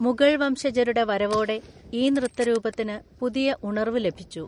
മുഗൾ വംശജരുടെ വരവോടെ ഈ നൃത്തരൂപത്തിന് പുതിയ ഉണർവ് ലഭിച്ചു.